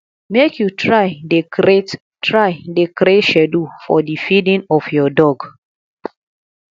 make you try dey create try dey create schedule for di feeding of your dog